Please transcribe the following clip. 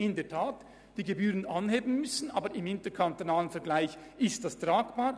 Sie müsste die Gebühren in der Tat anheben, aber im interkantonalen Vergleich ist das tragbar.